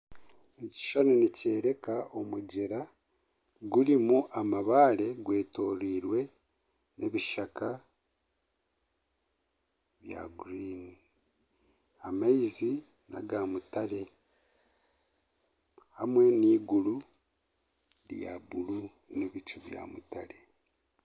Ekishushani nikyoreka omugyera gurimu amabaare gwetoreirwe ebishaka bya gurini amaizi ni aga mutare hamwe na eiguru rya buuru na ebicu bya mutare.